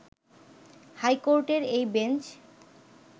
high কোর্টের এই bench